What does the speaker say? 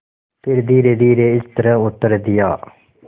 फिर धीरेधीरे इस तरह उत्तर दिया